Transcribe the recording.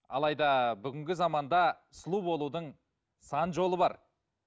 алайда бүгінгі заманда сұлу болудың сан жолы бар